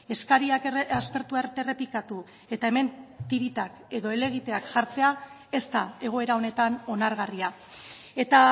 eskariak aspertu arte errepikatu eta hemen tiritak edo helegiteak jartzea ez da egoera honetan onargarria eta